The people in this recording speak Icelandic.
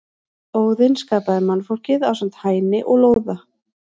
Óðinn skapaði mannfólkið ásamt Hæni og Lóða.